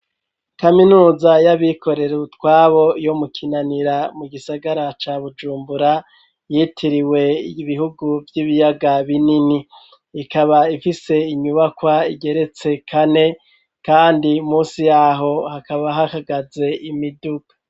Kaminuza y'abikorera utwabo yo mu Kinanira, mu gisagara ca Bujumbura, yitiriwe ibihugu vy'ibiyaga binini; ikaba ifise inyubakwa igeretse kane, kandi munsi y'aho hakaba hahagaze imiduga.